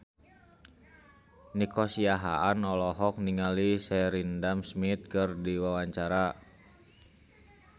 Nico Siahaan olohok ningali Sheridan Smith keur diwawancara